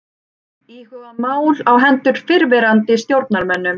Íhuga mál á hendur fyrrverandi stjórnarmönnum